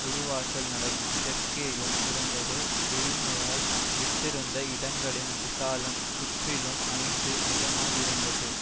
ஒரு வாசல் நடை தெற்கேயும் இருந்தது வெறுமையாய் விட்டிருந்த இடங்களின் விசாலம் சுற்றிலும் ஐந்து முழமாயிருந்தது